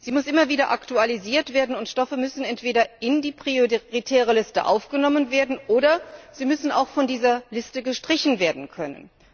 Sie muss immer wieder aktualisiert werden, und Stoffe müssen entweder in die prioritäre Liste aufgenommen werden oder sie müssen auch von dieser Liste gestrichen werden können.